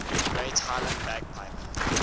great highland bagpipe